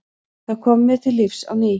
Það kom mér til lífs á ný.